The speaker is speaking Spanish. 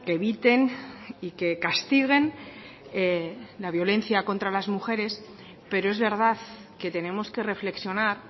eviten y que castiguen la violencia contra las mujeres pero es verdad que tenemos que reflexionar